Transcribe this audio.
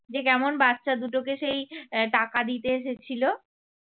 যে কেমন বাচ্চা দুটোকে সেই আহ টাকা দিতে এসেছিল